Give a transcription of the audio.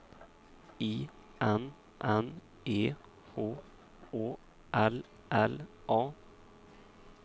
I N N E H Å L L A